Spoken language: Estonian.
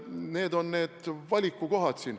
Need on need valikukohad siin.